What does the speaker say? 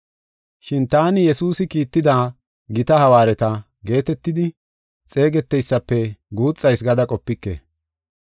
Shin taani Yesuusi kiitida “Gita hawaareta” geetetidi xeegeteysatape guuxayis gada qopike.